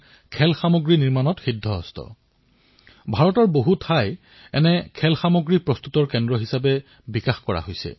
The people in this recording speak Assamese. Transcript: এই খেলাসামগ্ৰীবিধ চাৰিও ফালৰ পৰা ঘূৰণীয়া আৰু সেয়ে শিশুসকলেও আঘাত পোৱাৰ কোনো সম্ভাৱনা নাথাকে